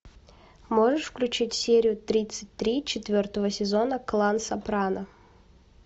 можешь включить серию тридцать три четвертого сезона клан сопрано